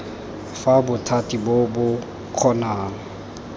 fa bothati bo bo kgonang